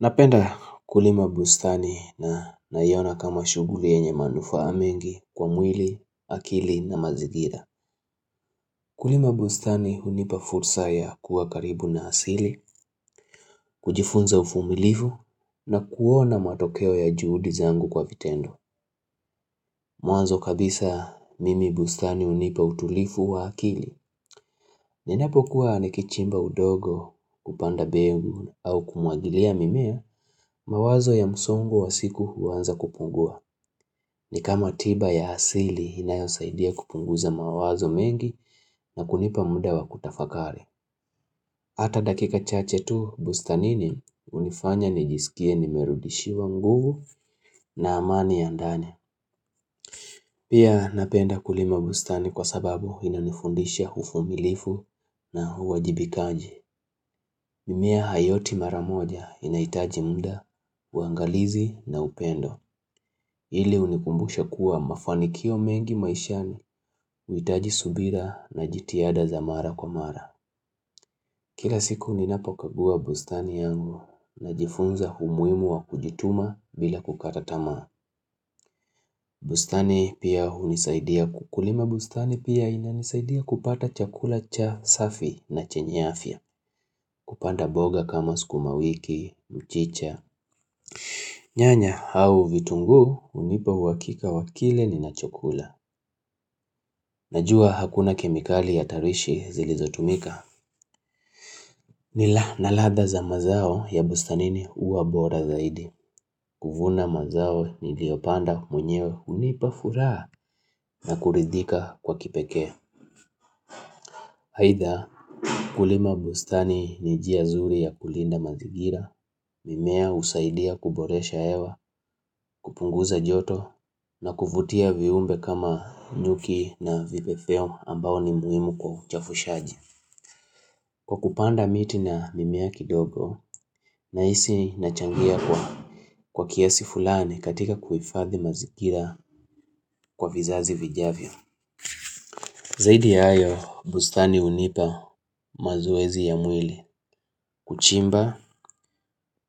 Napenda kulima bustani na naiona kama shughuli yenye manufaa mengi kwa mwili, akili na mazigira. Kulima bustani hunipa fursa ya kuwa karibu na asili, kujifunza uvumilifu na kuona matokeo ya juhudi zangu kwa vitendo. Mwanzo kabisa mimi bustani hunipa utulivu wa akili. Ninapokuwa nikichimba udongo kupanda mbegu au kumwagilia mimea, mawazo ya msongo wa siku huanza kupungua. Ni kama tiba ya asili inayosaidia kupunguza mawazo mengi na kunipa muda wa kutafakari. Hata dakika chache tu bustanini hunifanya nijisikie nimerudishiwa nguvu na amani ya ndani. Pia napenda kulima bustani kwa sababu inanifundisha uvumilivu na uwajibikaji. Mimea haioti maramoja inahitaji muda, uangalizi na upendo. Na jitihada za mara kwa mara. Kila siku ninapo kagua bustani yangu najifunza umuhimu wa kujituma bila kukaa tamaa. Bustani pia hunisaidia ku kulima bustani pia inanisaidia kupata chakula cha safi na chenye afya. Kupanda mboga kama sukumawiki, mchicha. Nyanya au vitunguu hunipa uhakika wa kile ninachokula. Najua hakuna kemikali ya tarishi zilizotumika. Nila ladha za mazao ya bustanini huwa bora zaidi. Kuvuna mazao niliyopanda mwenyewe hunipa furaha na kuridhika kwa kipekee. Haitha kulima bustani ni njia zuri ya kulinda mazingira. Mimea husaidia kuboresha hewa, kupunguza joto na kuvutia viumbe kama nyuki na vipepeo ambao ni muhimu kwa uchafushaji. Kwa kupanda miti na mimea kidogo, nahisi nachangia kwa kiasi fulani katika kuhifadhi mazingira kwa vizazi vijavyo. Zaidi ya hayo, bustani hunipa mazoezi ya mwili. Kuchimba,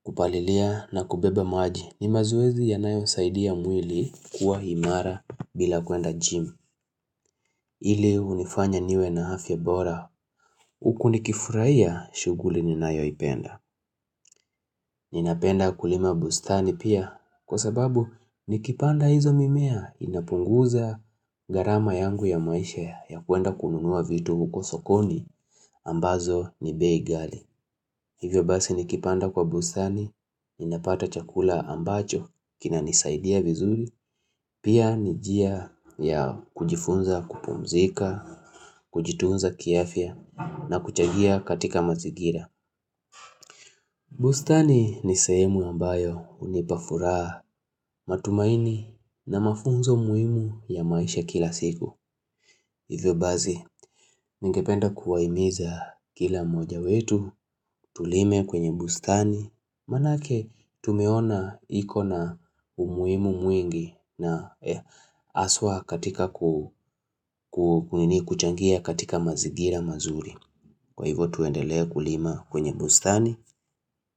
kupalilia na kubeba maji. Ni mazoezi yanayosaidi mwili kuwa imara bila kuenda jim. Ile hunifanya niwe na afya bora. Huku nikifurahia shughuli ninayoipenda. Ninapenda kulima bustani pia kwa sababu nikipanda hizo mimea inapunguza gharama yangu ya maisha ya kuenda kununua vitu huko sokoni ambazo ni bei ghali. Hivyo basi nikipanda kwa bustani ninapata chakula ambacho kinanisaidia vizuri pia ni njia ya kujifunza kupumzika, kujitunza kiafya na kuchangia katika mazingira. Bustani ni sehemu ambayo hunipa furaha matumaini na mafunzo muhimu ya maisha kila siku. Hivyo basi, ningependa kuwahimiza kila mmoja wetu, tulime kwenye bustani, manake tumeona iko na umuhimu mwingi na haswa katika kuchangia katika mazingira mazuri. Kwa hivo tuendelee kulima kwenye bustani.